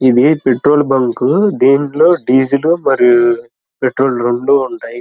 ఇది petrol bunk . దీంట్లో diesel మరియు పెట్రోల్ రెండు ఉంటాయి.